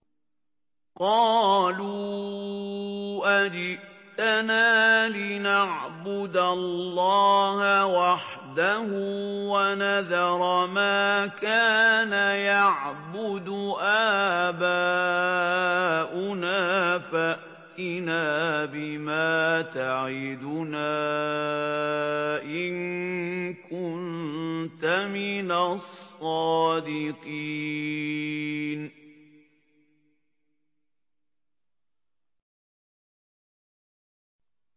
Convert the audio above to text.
قَالُوا أَجِئْتَنَا لِنَعْبُدَ اللَّهَ وَحْدَهُ وَنَذَرَ مَا كَانَ يَعْبُدُ آبَاؤُنَا ۖ فَأْتِنَا بِمَا تَعِدُنَا إِن كُنتَ مِنَ الصَّادِقِينَ